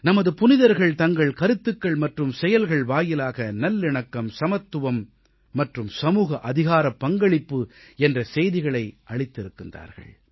நமது புனிதர்கள் தங்கள் கருத்துக்கள் மற்றும் செயல்கள் வாயிலாக நல்லிணக்கம் சமத்துவம் மற்றும் சமூக அதிகாரப்பங்களிப்பு என்ற செய்திகளை அளித்திருக்கிறார்கள்